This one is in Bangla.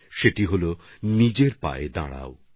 আর সেই বার্তা হচ্ছে নিজের পায়ে দাঁড়ানো